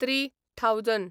three thousand